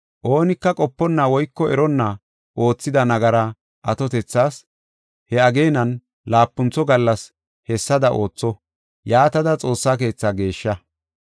Oonika qoponna woyko eronna oothida nagara atotethas, he ageenan laapuntho gallas hessada ootha. Yaatada Xoossa keetha geeshsha.